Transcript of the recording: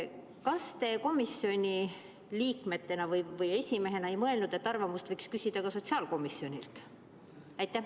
Kas te komisjoni liikmena või esimehena ei mõelnud, et arvamust võiks küsida ka sotsiaalkomisjonilt?